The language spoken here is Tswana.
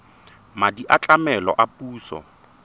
madi a tlamelo a puso